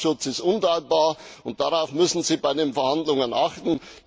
Verbraucherschutz ist unantastbar, und darauf müssen Sie bei den Verhandlungen achten.